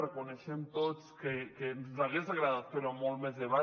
reconeixem tots que ens hagués agradat fer ho amb més debat